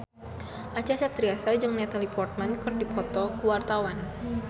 Acha Septriasa jeung Natalie Portman keur dipoto ku wartawan